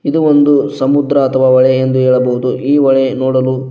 ಇದು ಒಂದು ಸಮುದ್ರ ಅಥವಾ ಹೊಳೆ ಎಂದು ಹೇಳಬಹುದು ಈ ಹೊಳೆ ನೋಡಲು--